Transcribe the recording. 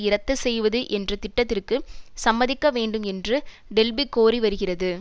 இரத்து செய்வது என்ற திட்டத்திற்கு சம்மதிக்க வேண்டும் என்று டெல்பி கோரி வருகிறது